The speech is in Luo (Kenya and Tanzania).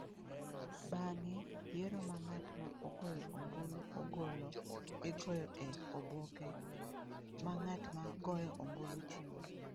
Bang’e, yiero ma ng’at ma goyo ombulu ogolo igoyo e oboke, ma ng’at ma goyo ombulu chiwo.